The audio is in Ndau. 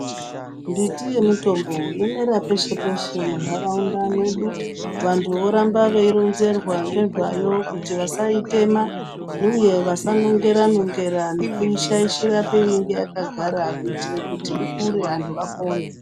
Mbiti yemitombo yomera peshe-peshe munharaunda mwedu. Vantu voramba veironzerwa ngezvayo kuti vasaitema, uye vasanongera-nongera nekuti kuishaishira painenge yakagara kuitire kuti ikure antu apone.